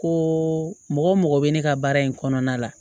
Ko mɔgɔ mɔgɔ bɛ ne ka baara in kɔnɔna la